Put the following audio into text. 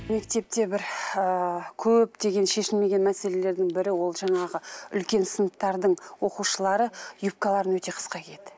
мектепте бір ыыы көптеген шешілмеген мәселелердің бірі ол жаңағы үлкен сыныптардың оқушылары юбкаларын өте қысқа киеді